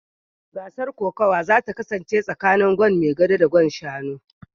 Gasar kokawa za ta kasance tsakanin Gwan maigabo da Gwan Shanu